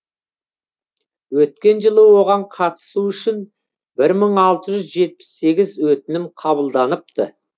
өткен жылы оған қатысу үшін бір мың алты жүз жетпіс сегіз өтінім қабылданыпты